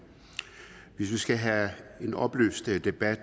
hvis vi skal have en oplyst debat